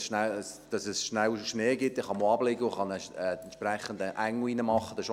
Ich hoffe, dass es schnell Schnee gibt, dann kann man auch abliegen und einen Engel zeichnen.